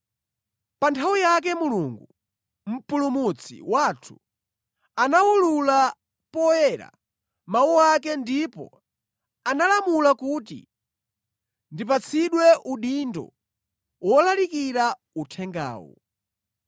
Pa nthawi yake Mulungu, Mpulumutsi wathu anawulula poyera mawu ake ndipo analamula kuti ndipatsidwe udindo wolalikira uthengawu.